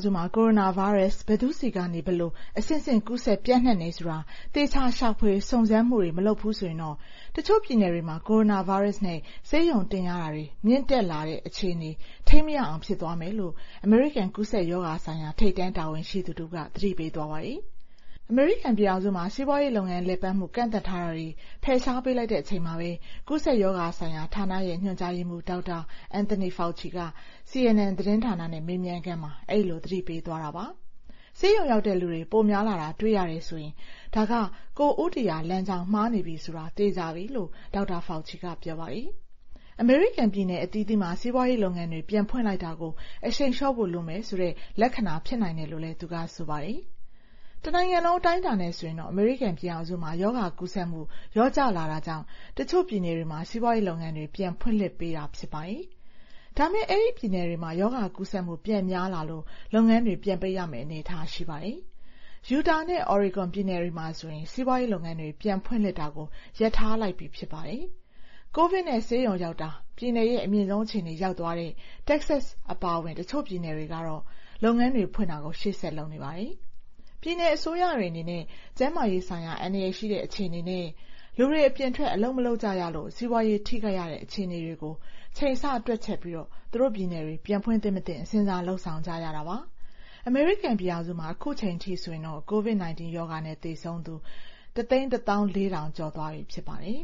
စုမှာ ကိုရိုနာဗိုင်းရပ်စ် ဘယ်သူ့ဆီကနေ ဘယ်လို အဆင့်ဆင့် ကူးစက်ပျံ့နှံ့တယ်ဆိုတာ သေချာ ရှာဖွေစုံစမ်းမှုတွေ မလုပ်ဘူးဆိုရင် တချို့ပြည်နယ်တွေမှာ ကိုရိုနာဗိုင်းရပ်စ်နဲ့ ဆေးရုံတင်ရတာတွေ မြင့်တက်လာနေတာကနေ အခြေအနေ ထိန်းမရအောင် ဖြစ်သွားမယ်လို့ အမေရိကန် ကူးစက်ရောဂါဆိုင်ရာ ထိပ်တန်းတာဝန်ရှိသူတဦးက သတိပေးသွားပါတယ်။ အမေရိကန်ပြည်ထောင်စုမှာ စီးပွားရေးလုပ်ငန်း လည်ပတ်မှု ကန့်သတ်ထားတာတွေ ဖယ်ရှားပေးလိုက်တဲ့ အချိန်မှာ ကူးစက်ရောဂါဆိုင်ရာ ဌာနရဲ့ ညွှန်ကြားရေးမှူး Dr. Anthony Fauci က CNN သတင်းဌာနနဲ့ မေးမြန်းခန်းမှာ အဲဒီလို သတိပေးသွားတာပါ။ ဆေးရုံရောက်တဲ့လူတွေ ပိုများလာတာ တွေ့ရတယ်ဆိုရင် ဒါက ကိုယ်ဦးတည်ရာလမ်းကြောင်း မှားနေပြီဆိုတာ သေချာပြီပဲလို့ Dr. Fauci က ပြောပါတယ်။ အမေရိကန် ပြည်နယ်အသီးသီးမှာ စီးပွားရေးလုပ်ငန်းတွေ ပြန်ဖွင့်လိုက်တာကို အရှိန်လျှော့ဖို့ လိုမယ်ဆိုတဲ့ လက္ခဏာ ဖြစ်နိုင်တယ်လို့လည်း သူက ဆိုပါတယ်။ တနိုင်ငံလုံး အတိုင်းအတာနဲ့ ဆိုရင်တော့ အမေရိကန်ပြည်ထောင်စုမှာ ရောဂါကူးစက်မှု လျော့ကျလာတာကြောင့် တချို့ပြည်နယ်တွေမှာ စီးပွားရေးလုပ်ငန်းတွေ ပြန်ဖွင့်လှစ်ပေးထားတာ ဖြစ်ပါတယ်။ ဒါပေမယ့် အဲဒီပြည်နယ်တွေမှာ ရောဂါကူးစက်မှု ပြန်များလာလို့ လုပ်ငန်းတွေ ပြန်ပိတ်ရမယ့် အနေအထား ရှိပါတယ်။ Utah နဲ့ Oregon ပြည်နယ်တွေမှာဆိုရင် စီးပွားရေးလုပ်ငန်းတွေ ပြန်ဖွင့်လှစ်တာကို ရပ်ထားလိုက်ပြီ ဖြစ်ပါတယ်။ COVID နဲ့ ဆေးရုံရောက်တာ ပြည်နယ်ရဲ့ အမြင့်ဆုံးအခြေအနေကို ရောက်သွားတဲ့ Texas အပါအဝင် တချို့ပြည်နယ်တွေကတော့ လုပ်ငန်းတွေဖွင့်တာ ရှေ့ဆက်လုပ်နေပါတယ်။ ပြည်နယ်အစိုးရတွေအနေနဲ့ ကျန်းမာရေးဆိုင်ရာ အန္တရာယ်ရှိတဲ့ အခြေအနေနဲ့ လူတွေ အပြင်ထွက် အလုပ်မလုပ်ကြရလို့ စီးပွားရေးထိခိုက်ရတဲ့ အခြေအနေကို ချိန်ဆတွက်ချက်ပြီး သူတို့ပြည်နယ်တွေ ပြန်ဖွင့်သင့်မသင့် စဉ်းစား လုပ်ဆောင်ကြတာပါ။ အမေရိကန်ပြည်ထောင်စုမှာ အခုချိန်ထိဆိုရင် COVID-19 ရောဂါနဲ့ သေဆုံးသူ ၁၁၄,၀၀၀ ကျော်သွားပြီ ဖြစ်ပါတယ်